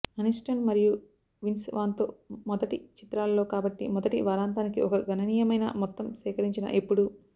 Aniston మరియు Vince Vaughn తో మొదటి చిత్రాలలో కాబట్టి మొదటి వారాంతానికి ఒక గణనీయమైన మొత్తం సేకరించిన ఎప్పుడూ